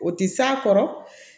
O tɛ s'a kɔrɔ